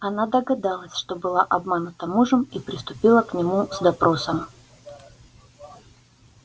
она догадалась что была обманута мужем и приступила к нему с допросом